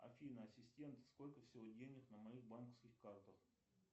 афина ассистент сколько всего денег на моих банковских картах